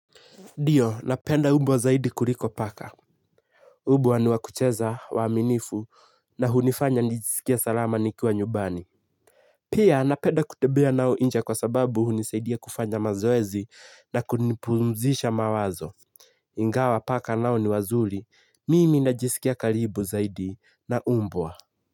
Ndio, napenda umbwa zaidi kuliko paka. Umbwa ni wakucheza, waaminifu, na hunifanya nijisikia salama nikiwa nyumbani. Pia, napenda kutembea nao nje kwa sababu hunisaidia kufanya mazoezi na kunipumzisha mawazo. Ingawa paka nao ni wazuri, mimi najisikia karibu zaidi, na umbwa.